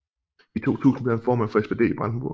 I 2000 blev han formand for SPD i Brandenburg